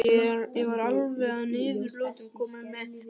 Ég var alveg að niðurlotum kominn um miðnætti.